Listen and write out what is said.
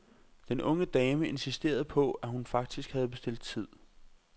Den unge dame insisterede på, at hun faktisk havde bestilt tid.